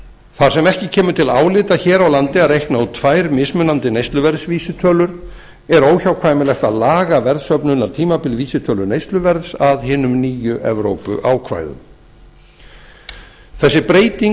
þar sem ekki kemur til álita hér á landi að reikna út tvær mismunandi neysluverðsvísitölur er óhjákvæmilegt að laga verðsöfnunartíma vísitölu neysluverðs að hinum nýju evrópuákvæðum þessi breyting á